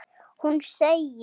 Hún segir